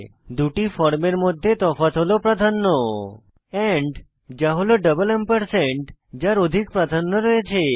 দুটি ফর্মের মধ্যে তফাৎ হল প্রাধান্য এন্ড যা হল ডাবল এম্পারস্যান্ড যার অধিক প্রাধান্য রয়েছে